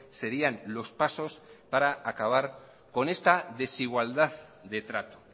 serían los pasos para acabar con esta desigualdad de trato